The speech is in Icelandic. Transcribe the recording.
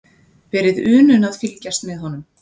Verið unun að fylgjast með honum.